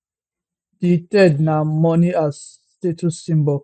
di third na money as status symbol